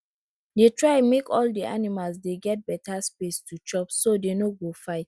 dey try make all de animal dey get beta space to chopso dey no go fight